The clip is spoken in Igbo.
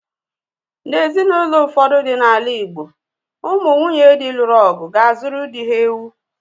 N'ezinụlọ ụfọdụ dị n'ala Igbo ụmụ nwunye dị luru ọgụ ga-azuru dị ha ewu